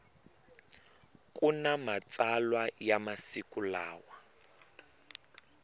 kuna matsalwa ya masiku lawa